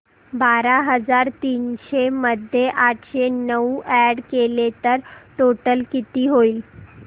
बारा हजार तीनशे मध्ये आठशे नऊ अॅड केले तर टोटल किती होईल